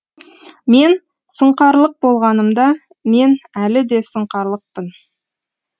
мен сұңқарлық болғанымда мен әлі де сұңқарлықпын